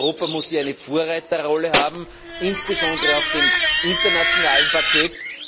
Europa muss eine Vorreiterrolle haben, insbesondere auf dem internationalen Parkett.